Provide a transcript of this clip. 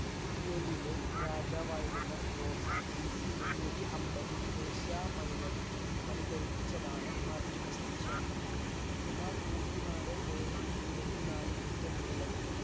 യയിലെ രാജാവായിരുന്നു ക്രോസഫ് ബിസി മുന്നൂറ്റിയൻപത്തിൽ ഏഷ്യ മൈനറിൽ പണി കഴിപ്പിച്ചതാണ് artimest ക്ഷേത്രം. സുമാർ നൂറ്റിനാല് point ഇരുപത്തിനാല് metre നീളവും